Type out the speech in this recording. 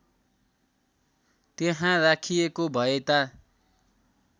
त्यहाँ राखिएको भएता